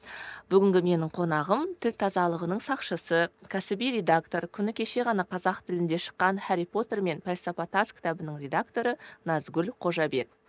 ы бүгінгі менің қонағым тіл тазалығының сақшысы кәсіби редактор күні кеше ғана қазақ тілінде шыққан хәрри потер мен пәлсапа тас кітабының редакторы назгүл қожабек